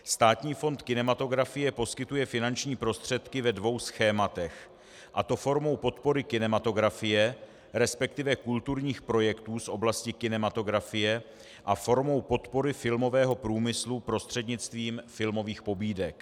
Státní fond kinematografie poskytuje finanční prostředky ve dvou schématech, a to formou podpory kinematografie, respektive kulturních projektů z oblasti kinematografie, a formou podpory filmového průmyslu prostřednictvím filmových pobídek.